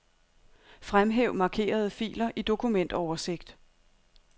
Fremhæv markerede filer i dokumentoversigt.